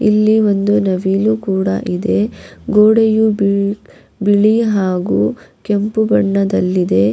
ಇಲ್ಲಿ ಒಂದು ನವಿಲು ಕೂಡ ಇದೆ ಗೋಡೆಯು ಬಿಳ್ ಬಿಳಿ ಹಾಗು ಕೆಂಪು ಬಣ್ಣದಲ್ಲಿದೆ.